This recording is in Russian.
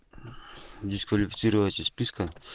дисквалифицировать из списка